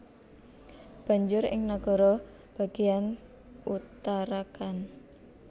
Banjur ing nagara bagéyan Uttarakhand